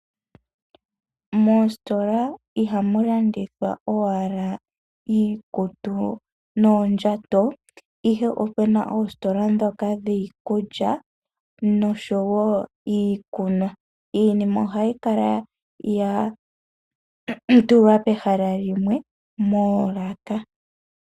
Moositola ihamu landithwa owala iikutu noondjato ihe opuna oositola ndhoka dhiikulya noshowo iikunwa, iinima ohayi kala yatulwa pehala limwe moolaka.